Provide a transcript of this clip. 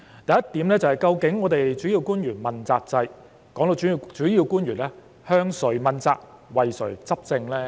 第一點，究竟主要官員問責制的主要官員，是向誰問責及為誰執政呢？